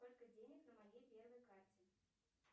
сколько денег на моей первой карте